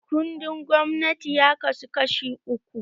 Kundin gwamnati ya kasu kashi uku